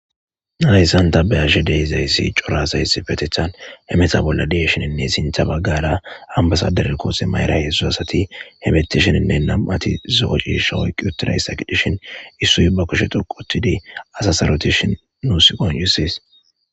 Nadayssan tabe ashe deizayssi corasays fetethan hemeta bolla dieshininne sintha baggala ambasader koose mayra hessu asati hebettishininne nam ati zo'o cisha woyqi utiraysaqidhishin issuy ba koshetuqutidi asasarotishi nuus qonusis.